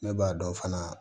Ne b'a dɔn fana